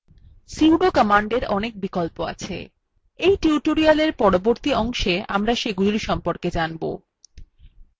sudo commandwe অনেক বিকল্প আছে we tutorialwe পরবর্তী অংশে আমরা সেগুলির সম্পর্কে জানব